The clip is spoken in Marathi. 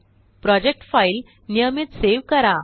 प्रोजेक्ट फाईल नियमित सेव करा